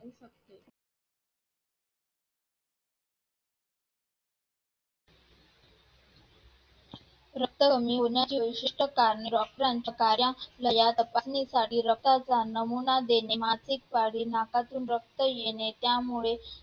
रक्त कमी होण्याची विशिष्ट कारणे. doctor च्या कार्यालयात तपासणीसाठी रक्ताचा नमुना देणे, मासिक पाळी, नाकातून रक्त येणे त्यामुळे